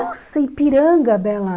Nossa, Ipiranga, Bela.